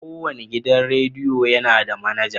Kowane gidan rediyo yana da manaja.